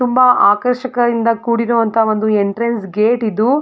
ತುಂಬಾ ಆಕರ್ಷಕ ಇಂದ ಕೂಡಿರುವ ಒಂದು ಎಂಟ್ರೆನ್ಸ್ ಗೇಟ್ ಇದು.